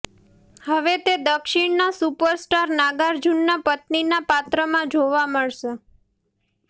હવે તે દક્ષિણના સુપરસ્ટાર નાગાર્જુનના પત્નીના પાત્રમાં જોવા મળશે